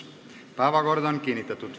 Päevakord on kinnitatud.